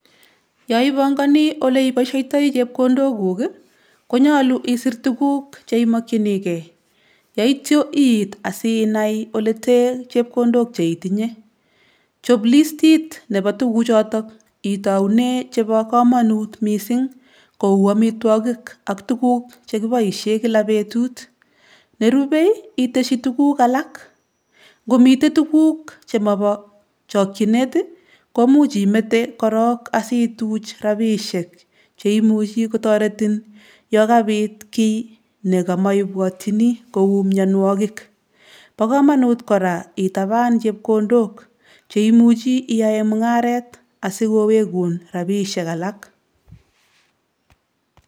Yoipongoni oleipoisheitoi chepkondokuk, konyolu isir tuguk cheimokchinikei yeityo iit asinai olete chepkondok cheitinye. Chop listit nepo tukuchoto itoune chepo komanut mising kou amitwokik ak tuguk chekiboishe kila betut. Nerube, iteshi tuguk alak. Nkomite tuguk chemobo chokchinet, komuch imete korok asituch rapishek cheimuchi kotaretin yokabit kiy nekamoibwatchini kou mienwokik. bo komanut kora itaban chepkondok cheimuchi iyae mung'aret asikowekun rapishek alak.